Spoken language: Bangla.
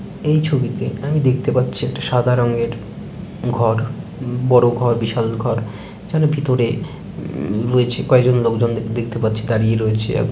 এই ছবিতে আমি দেখতে পাচ্ছি একটা সাদা রঙ্গের ঘর বড়ো ঘর বিশাল ঘর | ভিতরে রয়েছে কয়েকজন লোকজন দেখতে পাচ্ছি দাঁড়িয়ে রয়েছে | এবং--